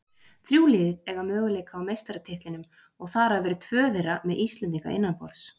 Þrjú lið eiga möguleika á meistaratitlinum og þar af eru tvö þeirra með Íslendinga innanborðs.